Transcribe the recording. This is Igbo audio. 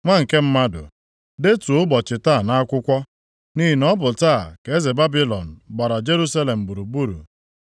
“Nwa nke mmadụ, detuo ụbọchị taa nʼakwụkwọ, nʼihi na ọ bụ taa ka eze Babilọn gbara Jerusalem gburugburu.